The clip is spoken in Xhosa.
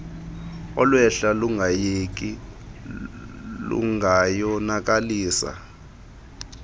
olwehla lungayeki lungayonakalisa